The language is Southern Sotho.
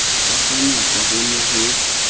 ka kganyapa ho ne ho